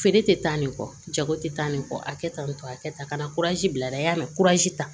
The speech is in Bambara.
Feere tɛ taa nin kɔ jago tɛ taa nin kɔ a kɛ tan nin to a kɛ tan ka na bila a la y'a ta